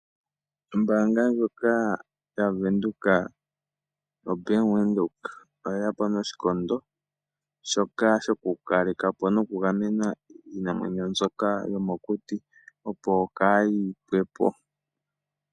Ombaanga ndyoka yavenduka, oBank Windhoek, oyeyapo noshikondo shoka shokukalekapo nokugamena iinamwenyo mbyoka yomokuti, opo kaayi pwepo.